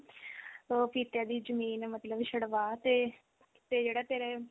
ਤੇ ਕਿ ਉਹ ਤੇਰੀ ਜਮੀਨ ਮਤਲਬ ਛਡਵਾ ਤੇ ਤੇ ਜਿਹੜਾ ਤੇਰੇ